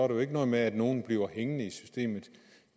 jo ikke noget med at nogen bliver hængende i systemet